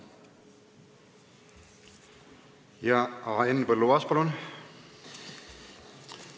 Henn Põlluaas, palun!